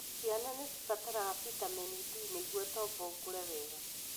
Ciana nĩ cibataraga vitamin D nĩguo tombo ũkũre wega.